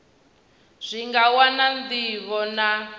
zwi nga wana ndivho na